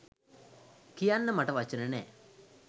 කියන්න මට වචන නෑ.